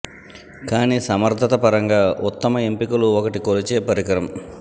కానీ సమర్ధత పరంగా ఉత్తమ ఎంపికలు ఒకటి కొలిచే పరికరం